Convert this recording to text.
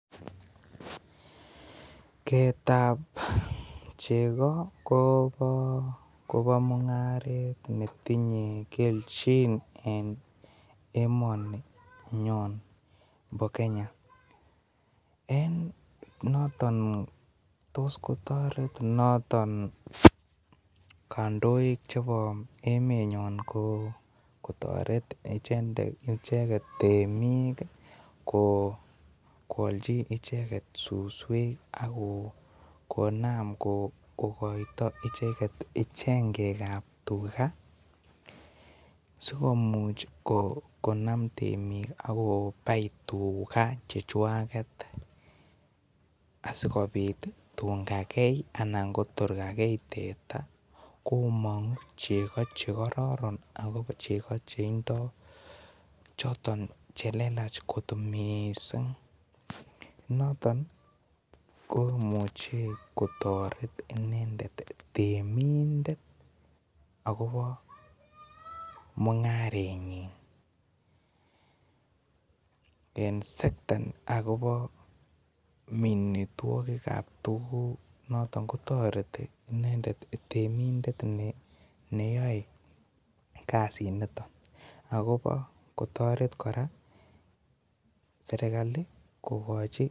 Keet tab chego Kobo mungaret netinye kelchin en emoni Nebo Kenya en noton tos kotoret noton kondoik kotoret icheket temuk koolji icheket suswek konam kokoito Chengek asikomuch konam temik akobai tuga chechwaget asigopit tun kagei Kotor kagei teta komongu chego chekororon ako cheko chetindo choton chelelach kot mising niton komuche kotoret tenimndet agobo mungarenyin en sekta akobo minitwokik Kap tuguk noton kotoreti nendet temindet neyoe kasiniton akobo kotoret kora serikali kogochi